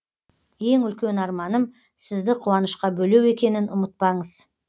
ең үлкен арманым сізді қуанышқа бөлеу екенін ұмытпаңыз